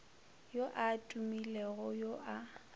yo a tumilego yo a